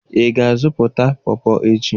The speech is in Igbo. Ị ga-azụta PawPaw echi?